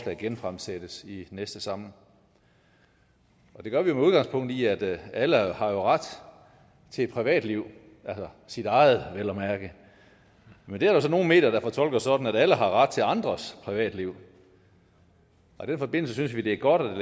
genfremsættes i næste samling det gør vi med udgangspunkt i at alle jo har ret til et privatliv sit eget vel at mærke men det er der så nogle medier der fortolker sådan at alle har ret til andres privatliv i den forbindelse synes vi det er godt at